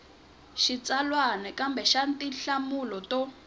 xitsalwana kumbe xa tinhlamulo to